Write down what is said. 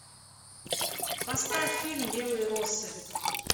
поставь фильм белые росы